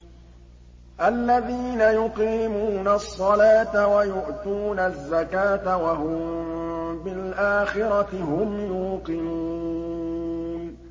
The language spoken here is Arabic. الَّذِينَ يُقِيمُونَ الصَّلَاةَ وَيُؤْتُونَ الزَّكَاةَ وَهُم بِالْآخِرَةِ هُمْ يُوقِنُونَ